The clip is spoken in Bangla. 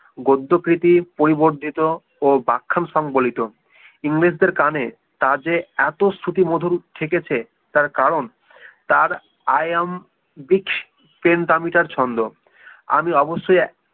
গদ্য প্রীতি পরিবর্দিত ও বাখ্যান সংবলিত ইংরেজদের কানে তা যে এত শ্রুতিমধুর ঠেকেছে তার কারণ তার i am beach প্রেম দামীটার ছন্দ আমি অবশ্যই